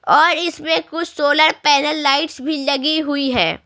और इसमें कुछ सोलर पैनल लाइट्स भी लगी हुई है।